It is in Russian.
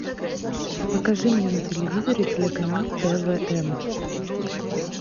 покажи мне на телевизоре телеканал твм